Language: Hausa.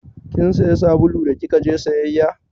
Kin saya sabulu da kika je sayayya?